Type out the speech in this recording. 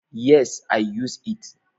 Yes, i used it.